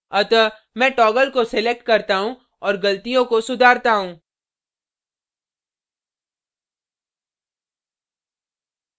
अतः मैं toggle को select करता हूँ और गलतियों को सुधारता हूँ